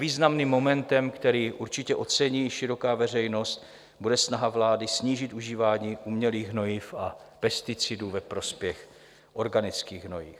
Významným momentem, který určitě ocení široká veřejnost, bude snaha vlády snížit užívání umělých hnojiv a pesticidů ve prospěch organických hnojiv.